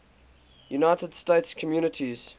united states communities